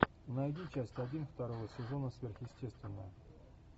найди часть один второго сезона сверхъестественное